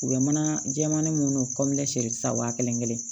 U bɛ mana jɛmani minnu sisan waa kelen kelen